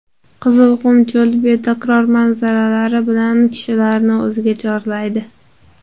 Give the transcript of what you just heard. Qizilqum cho‘li betakror manzaralari bilan kishilarni o‘ziga chorlaydi.